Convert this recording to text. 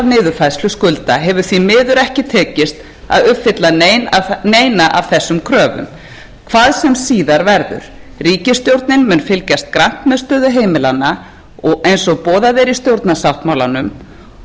niðurfærslu skulda hefur því miður ekki tekist að uppfylla neina af þessum kröfum hvað sem síðar verður ríkisstjórnin mun fylgjast grannt með stöðu heimilanna eins og boðað er í stjórnarsáttmálanum